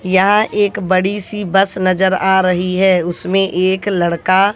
यहां एक बड़ी सी बस नजर आ रही है उसमें एक लड़का--